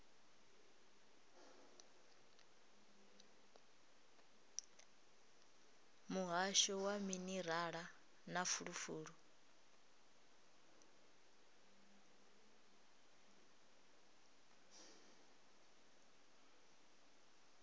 muhasho wa minerala na fulufulu